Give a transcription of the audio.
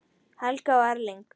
Helga og Erling.